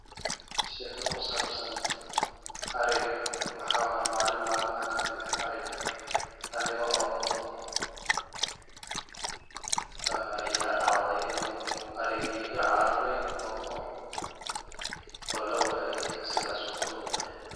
Sheka kusabsan ariga waxaa waye malin malmaha kamid ah ariga anigo wadho, ya dacdey arigi inuu iga cararo o lawaye sidas uu ku lumee.